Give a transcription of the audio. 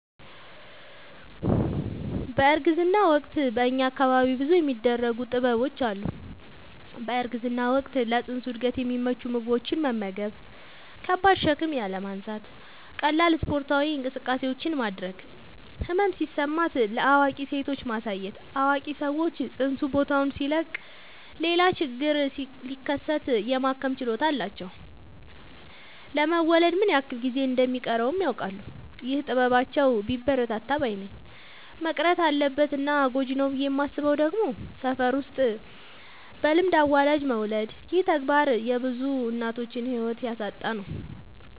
በእርግዝና ወቅት በእኛ አካባቢ ብዙ የሚደረጉ ጥበቦች አሉ። በእርግዝና ወቅት ለፅንሱ እድገት የሚመቹ ምግቦችን መመገብ። ከባድ ሸክም ያለማንሳት ቀላል ስፓርታዊ እንቅስቃሴዎችን ማድረግ። ህመም ሲሰማት ለአዋቂ ሴቶች ማሳየት አዋቂ ሰዎች ፅንሱ ቦታውን ሲለቅ ሌላ ችግር ሲከሰት የማከም ችሎታ አላቸው ለመወለድ ምን ያክል ጊዜ እንደ ሚቀረውም ያውቃሉ። ይህ ጥበባቸው ቢበረታታ ባይነኝ። መቅረት አለበት እና ጎጂ ነው ብዬ የማስበው ደግሞ ሰፈር ውስጥ በልምድ አዋላጅ መውለድ ይህ ተግባር የብዙ እናቶችን ህይወት እያሳጣን ነው።